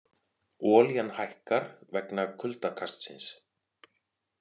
Olían hækkar vegna kuldakastsins